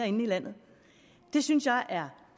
ind i landet det synes jeg er